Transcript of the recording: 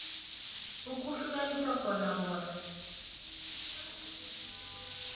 ukuhlukanisa khona bona